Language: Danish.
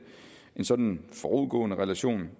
en sådan forudgående relation